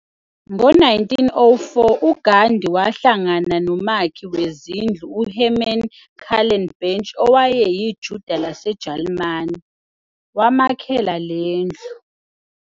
Ngo 1904 u Ghandi wahlangana no makhi wezindlu u Hermann Kallenbach owayeyi Juda laseJalimani, wamakhela lendlu